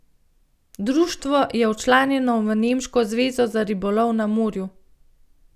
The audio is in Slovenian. Društvo je včlanjeno v nemško zvezo za ribolov na morju.